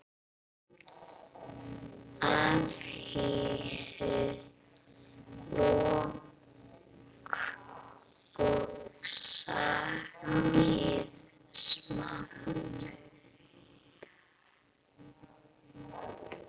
Afhýðið lauk og saxið smátt.